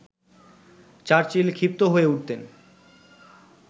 Churchill ক্ষিপ্ত হয়ে উঠতেন